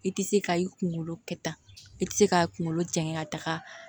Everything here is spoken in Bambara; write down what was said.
I tɛ se ka i kunkolo kɛta i tɛ se k'a kunkolo jɛngɛ ka taga